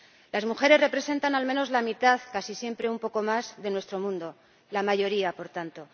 Las mujeres representan al menos la mitad, casi siempre un poco más, de nuestro mundo la mayoría, por tanto.